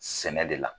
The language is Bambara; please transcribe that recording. Sɛnɛ de la